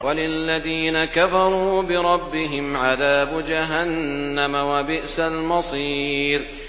وَلِلَّذِينَ كَفَرُوا بِرَبِّهِمْ عَذَابُ جَهَنَّمَ ۖ وَبِئْسَ الْمَصِيرُ